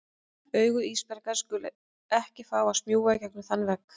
Augu Ísbjargar skulu ekki fá að smjúga í gegnum þann vegg.